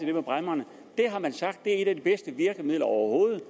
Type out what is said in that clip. det med bræmmerne det har man sagt er et af de bedste virkemidler overhovedet